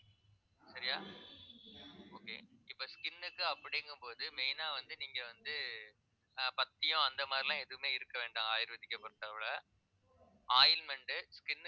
சரியா okay இப்ப skin க்கு அப்படிங்கும்போது main ஆ வந்து நீங்க வந்து ஆஹ் பத்தியம் அந்த மாதிரி எல்லாம் எதுவுமே இருக்க வேண்டாம் ayurvedic ஐ பொறுத்தளவுல ointment skin